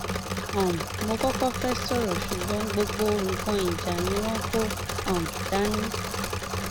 um mo kọkọ fẹẹ sọrọ ṣùgbọn gbogbo nǹkan ìjà ni wọn kò um dání